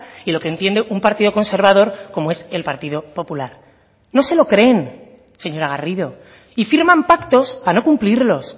y lo que entiende un partido conservador como es el partido popular no se lo creen señora garrido y firman pactos para no cumplirlos